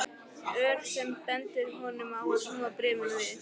Ör sem bendir honum á að snúa bréfinu við.